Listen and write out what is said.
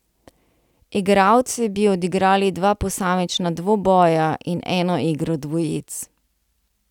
Igralci bi odigrali dva posamična dvoboja in eno igro dvojic.